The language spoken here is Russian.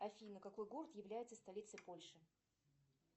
афина какой город является столицей польши